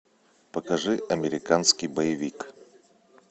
покажи американский боевик